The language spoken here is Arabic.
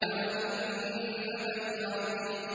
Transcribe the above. عَنِ النَّبَإِ الْعَظِيمِ